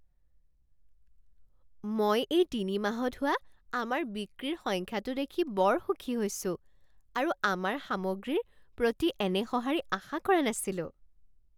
মই এই তিনিমাহত হোৱা আমাৰ বিক্ৰীৰ সংখ্যাটো দেখি বৰ সুখী হৈছো আৰু আমাৰ সামগ্ৰীৰ প্ৰতি এনে সঁহাৰি আশা কৰা নাছিলোঁ।